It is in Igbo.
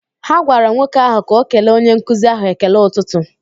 Ha gwara nwoke ahụ ka o kele onye nkuzi ahụ ekele ụtụtụ